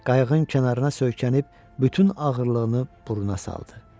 Qayığın kənarına söykənib bütün ağırlığını burna saldı.